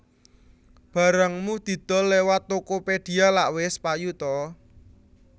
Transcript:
Barangmu didol lewat Tokopedia lak wes payu ta